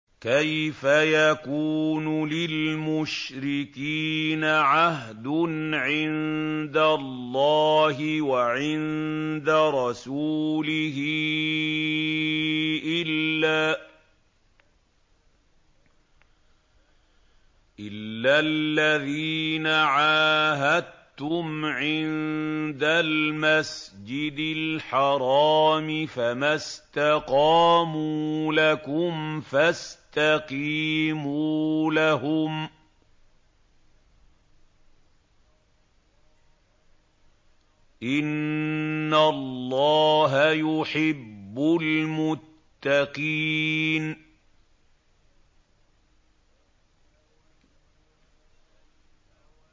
كَيْفَ يَكُونُ لِلْمُشْرِكِينَ عَهْدٌ عِندَ اللَّهِ وَعِندَ رَسُولِهِ إِلَّا الَّذِينَ عَاهَدتُّمْ عِندَ الْمَسْجِدِ الْحَرَامِ ۖ فَمَا اسْتَقَامُوا لَكُمْ فَاسْتَقِيمُوا لَهُمْ ۚ إِنَّ اللَّهَ يُحِبُّ الْمُتَّقِينَ